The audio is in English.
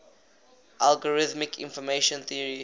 algorithmic information theory